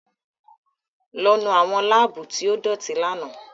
Lọ nu awọn labuu ti o idoti làná!